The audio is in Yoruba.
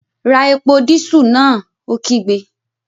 Ra epo dísù náà! Ó kígbe